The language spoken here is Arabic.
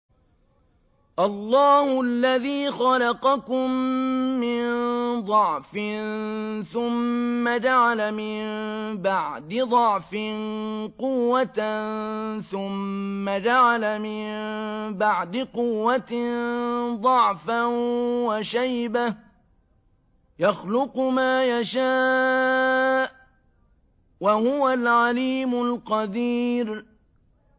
۞ اللَّهُ الَّذِي خَلَقَكُم مِّن ضَعْفٍ ثُمَّ جَعَلَ مِن بَعْدِ ضَعْفٍ قُوَّةً ثُمَّ جَعَلَ مِن بَعْدِ قُوَّةٍ ضَعْفًا وَشَيْبَةً ۚ يَخْلُقُ مَا يَشَاءُ ۖ وَهُوَ الْعَلِيمُ الْقَدِيرُ